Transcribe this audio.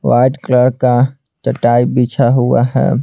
White colour का चटाई बिछा हुआ है।